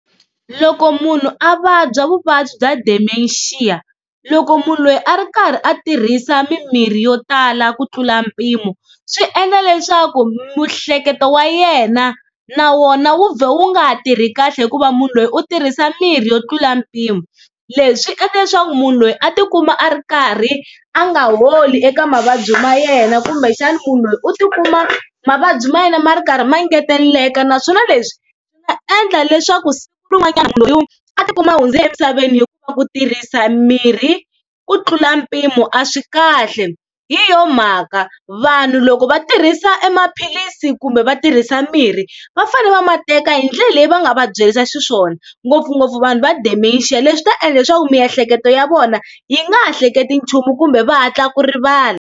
Loko munhu a vabya vuvabyi bya Dementia, loko munhu loyi a ri karhi a tirhisa mimirhi yo tala ku tlula mpimo swi endla leswaku miehleketo wa yena na wona wu vhela wu nga ha tirhi kahle hikuva munhu loyi u tirhisa mirhi yo tlula mpimo. Leswi swi endla leswaku munhu loyi a tikuma a ri karhi a nga holi eka mavabyi ma yena kumbexana munhu loyi u tikuma mavabyi ma yena ma ri karhi ma engeteleka, naswona leswi swa endla leswaku siku rin'wanyana munhh loyi a tikuma a hundze emisaveni hi ku tirhisa mirhi ku tlula mpimo a swi kahle. Hi yo mhaka vanhu loko va tirhisa e maphilisi kumbe va tirhisa mirhi va fane va ma teka hi ndlela leyi va nga va byerisa xiswona ngopfungopfu vanhu va Dementia leswi swi ta endla leswaku miehleketo ya vona yi nga ha hleketi nchumu kumbe va hatla ku rivala.